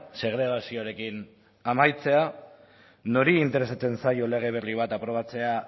segregazioarekin amaitzea nori interesatzen zaio lege berri bat aprobatzea